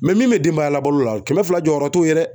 min bɛ denbaya labalola kɛmɛ fila jɔyɔrɔ t'o ye dɛ.